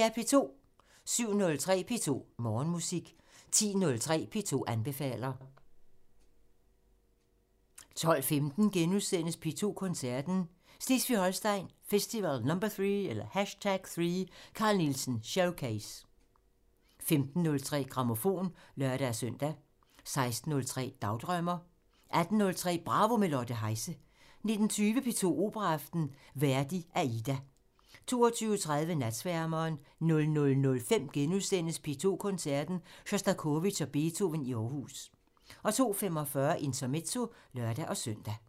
07:03: P2 Morgenmusik 10:03: P2 anbefaler 12:15: P2 Koncerten – Slesvig-Holsten Festival #3 – Carl Nielsen showcase * 15:03: Grammofon (lør-søn) 16:03: Dagdrømmer 18:03: Bravo – med Lotte Heise 19:20: P2 Operaaften – Verdi: Aida 22:30: Natsværmeren 00:05: P2 Koncerten – Sjostakovitj og Beethoven i Aarhus * 02:45: Intermezzo (lør-søn)